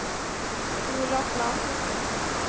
Olof Larsson